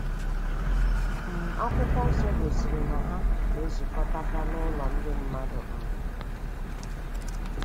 um Akwụkwọ Nsọ gosiri na ha na ezukọtaka n'ụlọ ndị mmadụ. um